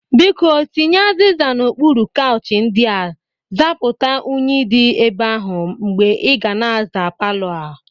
Biko, tinye azịza n'okpuru kauchi ndị a zapụta unyi dị ebe ahụ mgbe ị ga na-aza palọ a.